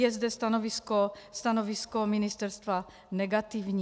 Je zde stanovisko ministerstva negativní.